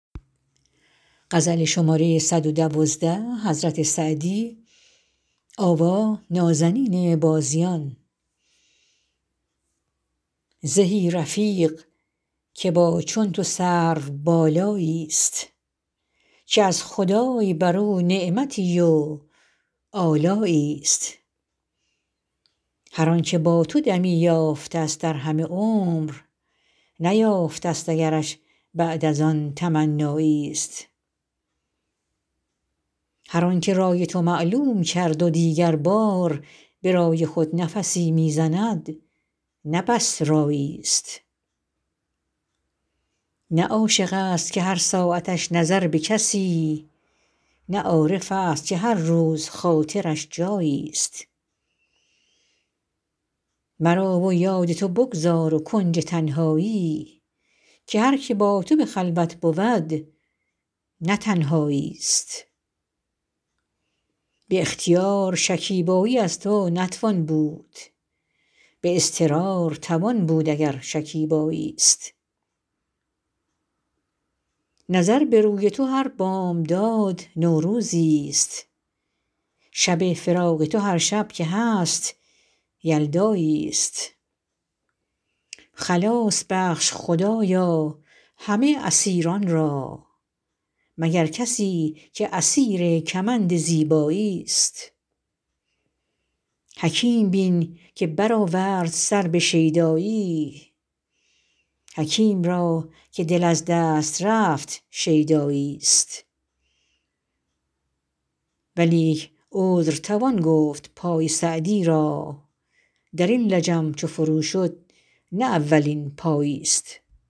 زهی رفیق که با چون تو سروبالایی است که از خدای بر او نعمتی و آلایی است هر آن که با تو دمی یافته است در همه عمر نیافته است اگرش بعد از آن تمنایی است هر آن که رای تو معلوم کرد و دیگر بار برای خود نفسی می زند نه بس رایی است نه عاشق است که هر ساعتش نظر به کسی نه عارف است که هر روز خاطرش جایی است مرا و یاد تو بگذار و کنج تنهایی که هر که با تو به خلوت بود نه تنهایی است به اختیار شکیبایی از تو نتوان بود به اضطرار توان بود اگر شکیبایی است نظر به روی تو هر بامداد نوروزی است شب فراق تو هر شب که هست یلدایی است خلاص بخش خدایا همه اسیران را مگر کسی که اسیر کمند زیبایی است حکیم بین که برآورد سر به شیدایی حکیم را که دل از دست رفت شیدایی است ولیک عذر توان گفت پای سعدی را در این لجم چو فرو شد نه اولین پایی است